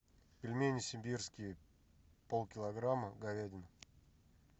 пельмени сибирские полкилограмма говядина